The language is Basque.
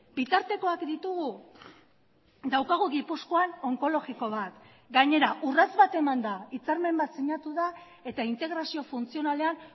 bitartekoak ditugu daukagu gipuzkoan onkologiko bat gainera urrats bat eman da hitzarmen bat sinatu da eta integrazio funtzionalean